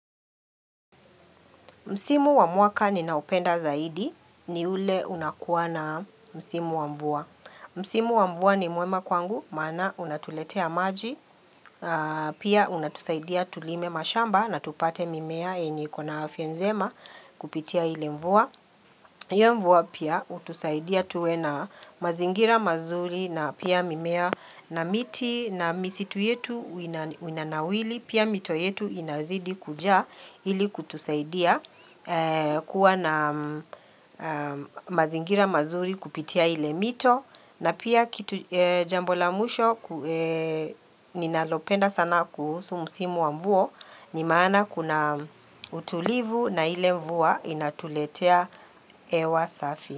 Msimu wa mwaka ninaopenda zaidi ni ule unakuwa na msimu wa mvua. Msimu wa mvua ni mwema kwangu maana unatuletea maji, pia unatusaidia tulime mashamba na tupate mimea yenye ikona afya njema kupitia ile mvua. Iyo mvua pia hutusaidia tuwe na mazingira mazuri na pia mimea na miti na misitu yetu winanawili pia mito yetu inazidi kujaa ilikutusaidia kuwa na mazingira mazuri kupitia ile mito. Na pia kitu jambo la mwisho ninalopenda sana kuhusu msimu wa mvua Nimaana kuna utulivu na ile mvua inatuletea hewa safi.